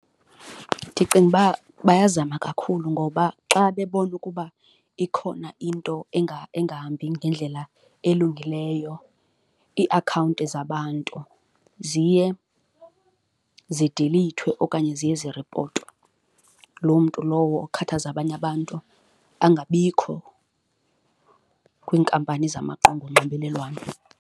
Ndicinga uba bayazama kakhulu ngoba xa bebona ukuba ikhona into engahambi ngendlela elungileyo iiakhawunti zabantu ziye zidilithwe okanye ziye ziripotwe, loo mntu lowo okhathaza abanye abantu angabikho kwiinkampani zamaqonga onxibelelwano.